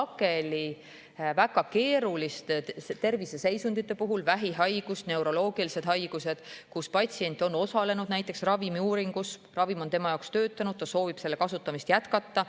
sageli väga keeruliste terviseseisundite puhul – vähihaigus, neuroloogilised haigused –, kui patsient on osalenud näiteks ravimiuuringus, ravim on tema jaoks töötanud ja ta soovib selle kasutamist jätkata.